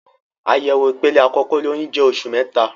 Àyẹ̀wò ìpele àkókò olóyun jẹ oṣù mẹta.